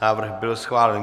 Návrh byl schválen.